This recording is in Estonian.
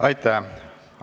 Aitäh!